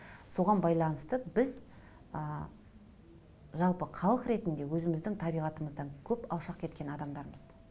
соған байланысты біз ы жалпы халық ретінде өзіміздің табиғатымыздан көп алшақ кеткен адамдармыз